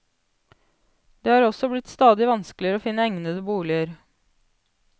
Det har også blitt stadig vanskeligere å finne egnede boliger.